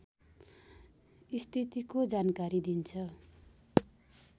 स्थितिको जानकारी दिन्छ